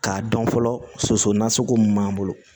K'a dɔn fɔlɔ soso nasugu mun b'an bolo